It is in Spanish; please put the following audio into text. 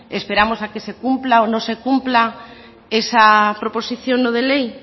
esperamos a que se cumpla o no se cumpla esa proposición no de ley